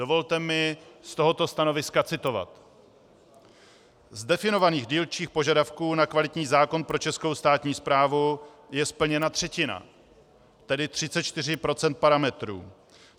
Dovolte mi z tohoto stanoviska citovat: Z definovaných dílčích požadavků na kvalitní zákon pro českou státní správu je splněna třetina, tedy 34 % parametrů.